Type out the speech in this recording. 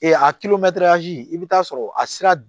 a i bɛ taa sɔrɔ a sira